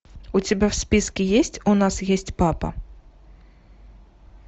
у тебя в списке есть у нас есть папа